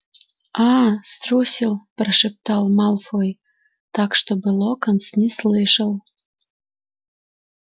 аа струсил прошептал малфой так чтобы локонс не слышал